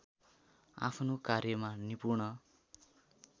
आफ्नो कार्यमा निपुण